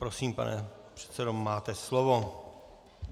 Prosím, pane předsedo, máte slovo.